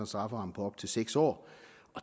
strafferamme på op til seks år